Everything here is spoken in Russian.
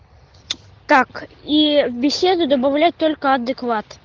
так и беседу добавлять только адекват